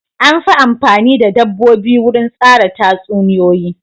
An fi amfani da dabbobi wurin tsara tatsuniyoyi.